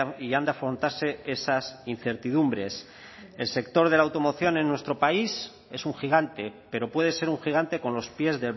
y han de afrontarse esas incertidumbres el sector de la automoción en nuestro país es un gigante pero puede ser un gigante con los pies